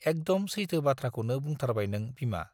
एकदम सैथो बाथ्राखौनो बुंथारबाय नों बिमा।